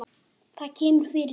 Það kemur fyrir.